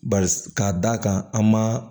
Ba k'a da kan an ma